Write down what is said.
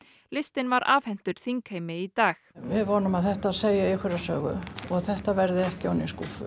listinn var afhentur þingheimi í dag við vonum að þetta segi einhverja sögu og að þetta verði ekki ofan í skúffu